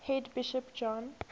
head bishop john